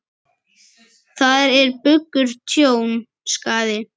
Þar er bugur tjón, skaði.